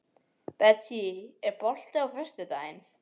Betsý, er bolti á föstudaginn?